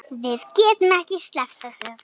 Við getum ekki sleppt þessu.